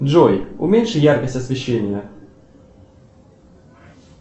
джой уменьши яркость освещения